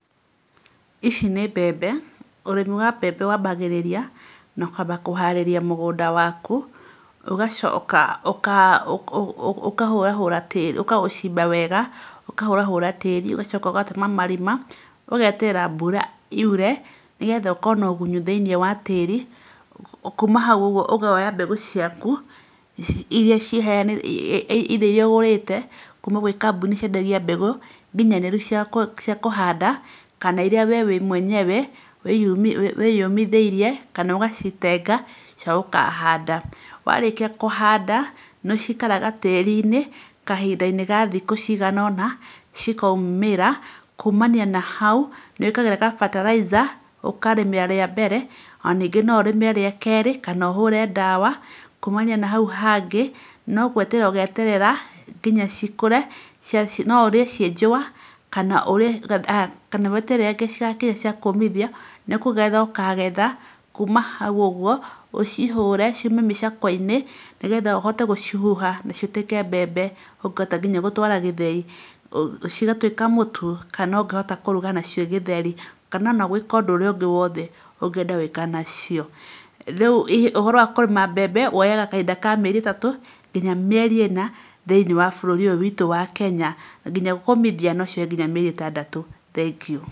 Ici nĩ mbembe. Ũrĩmi wa mbembe wambagĩrĩragia na kwamba kũharĩria mũgũnda waku, ũgacoka ũka ũka ũkahũrahura, ũkaũcimba wega, ũkahũra hũra tĩĩri, ũgacoka ũgatema marima, ũgeterera mbura yure nĩgetha ũkorwo na ũgunyu thĩinĩ wa tĩĩri. Kuma hau ũguo ũkoya mbegũ ciaku iria ĩitha iria ũgũrĩte kuma gwĩ kambuni iria ciendagia mbegũ ninyanĩru cia kũhanda kana iria we mwenyewe wĩyũmithĩirie kana ũgacitenga cia gũkahanda. Warĩkia kũhanda, nĩcikaraga tĩĩri-inĩ kahinda-inĩ ga thikũ cigana ũna, cikaumĩra. Kumania na hau, nĩwĩkagĩra gabataraitha ũkarĩmĩra rĩa mbere, ona ningĩ no ũrĩme rĩa keerĩ kanaa ũhũre ndawa. Kumania na hau hangĩ no gweterera ũgeterera nginya cikũre. No ũrĩe ciĩ njũa kana ũrĩa, kana weterere nginya rĩrĩa cigakinya cia kũmithia., nĩ kũgetha ũkagetha, kuma hau ũguo, ũcihũre, ciume mĩcakwe-inĩ, nĩgetha ũhote gucihuha na cituĩke mbembe ũngĩhota nginya gũtwara gĩthĩi cigatuĩka mũtu. Kana ũngĩhota kũruga nacio gĩtheri, kana ona gwĩka ũndũ ũrĩa ũngĩ wothe ungĩaenda gwĩka nacio. Rĩu ũhoro wa kũrĩma mbembe woyaga kahinda ka mĩeri ĩtatũ, nginya mĩeri ĩna thĩinĩ wa bũrũri ũyũ witũ wa Kenya. Nginya kũmithia nocioye nginya mĩeri ĩtandatũ. Thengiũ.